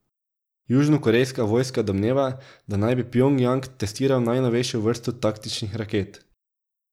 Južnokorejska vojska domneva, da naj bi Pjongjang testiral najnovejšo vrsto taktičnih raket.